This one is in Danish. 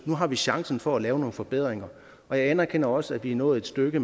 nu har vi chancen for at lave nogle forbedringer jeg anerkender også at vi er nået et stykke